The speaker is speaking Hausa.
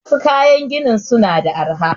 Wassu kayan gini suna da arha